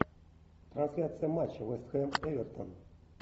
трансляция матча вест хэм эвертон